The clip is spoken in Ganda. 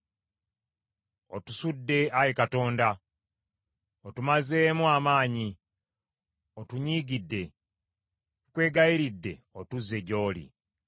Otusudde, Ayi Katonda, otumazeemu amaanyi, otunyiigidde. Tukwegayiridde otuzze gy’oli.